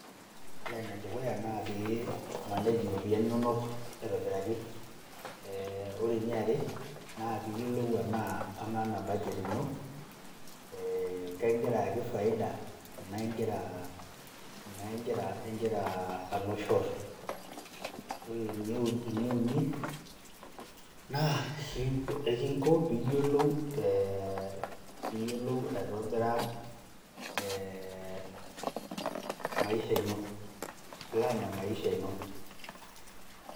Ore enedukuya na pee manage iropiyiani nonok aitobiraki. Ore eniare, naa piyiolou enaa amaa ena budget ino, eh kekigira ayaki faida enaa egira alo shot. Ore eneuni, na ekinko piyiolou eh piyiolou aitobira eh maisha ino. Plan emaisha ino.